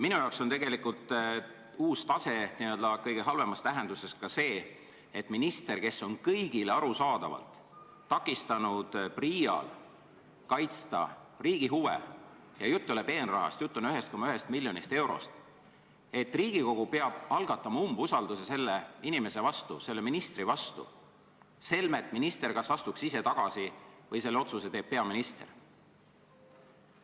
Minu jaoks on uus tase n-ö kõige halvemas tähenduses ka see, et minister on kõigile arusaadavalt takistanud PRIA-l kaitsta riigi huve – ja jutt ei ole peenrahast, jutt on 1,1 miljonist eurost –, nii et Riigikogu peab algatama umbusalduse selle inimese vastu, selle ministri vastu, selmet minister kas astuks ise tagasi või selle otsuse teeks peaminister.